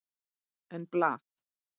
En blað?